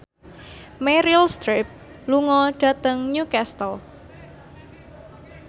Meryl Streep lunga dhateng Newcastle